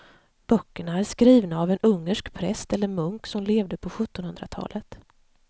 Böckerna är skrivna av en ungersk präst eller munk som levde på sjuttonhundratalet.